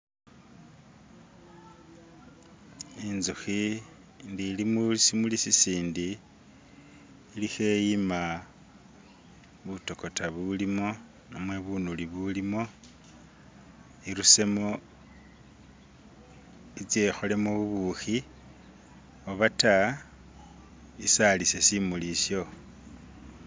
Inzukhi ndi ili musimuli isindi ili kheyima butokota bulimo namwe bunulu bulimo irusemo itse ikholemo bubikho obata isalise simuli isho.